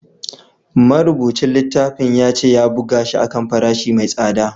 Marubucin littafin ya ce ya buga shi a kan farashi mai tsada